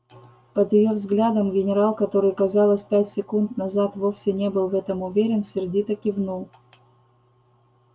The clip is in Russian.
под её взглядом генерал который казалось пять секунд назад вовсе не был в этом уверен сердито кивнул